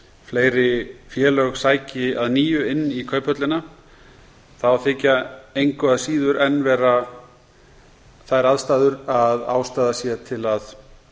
fleiri félög sæki að nýju inn í kauphöllina þá þykja engu að síður enn vera þær aðstæður að ástæða sé til þess að